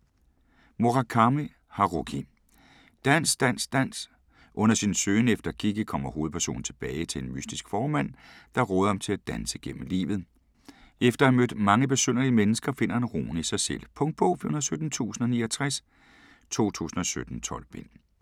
Murakami, Haruki: Dans dans dans Under sin søgen efter Kikki kommer hovedpersonen tilbage til en mystisk fåremand, der råder ham til at danse gennem livet. Efter at have mødt mange besynderlige mennesker finder han roen i sig selv. Punktbog 417069 2017. 12 bind.